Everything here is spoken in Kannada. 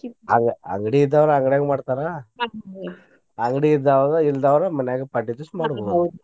ಅ~ ಅಂಗಡಿ ಇದ್ದಾವ್ರ ಅಂಗಡ್ಯಾಗ ಮಾಡ್ತಾರ ಅಂಗಡಿ ಇದ್ದಾವ್ರ ಇಲ್ದಾವ್ರ ಮನ್ಯಾಗ ಪಾಡ್ಯಾ ದಿವ್ಸ ಮಾಡುದು .